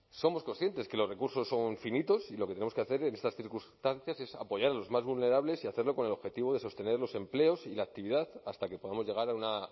somos conscientes que los recursos son finitos y lo que tenemos que hacer en estas circunstancias es apoyar a los más vulnerables y hacerlo con el objetivo de sostener los empleos y la actividad hasta que podamos llegar a una